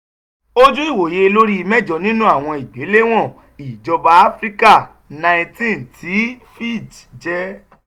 ojú ìwòye lórí mẹ́jọ ínú àwọn ìgbéléwọ̀n ìjọba áfíríkà nineteen tí fitch jẹ́